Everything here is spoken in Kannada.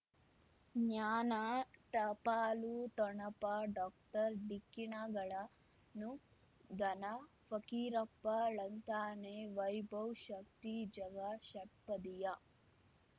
ಜ್ಞಾನ ಟಪಾಲು ಠೊಣಪ ಡಾಕ್ಟರ್ ಢಿಕ್ಕಿ ಣಗಳನು ಧನ ಫಕೀರಪ್ಪ ಳಂತಾನೆ ವೈಭವ್ ಶಕ್ತಿ ಝಗಾ ಷಟ್ಪದಿಯ